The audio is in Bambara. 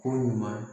Ko ɲuman